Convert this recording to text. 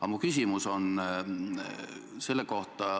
Aga minu küsimus.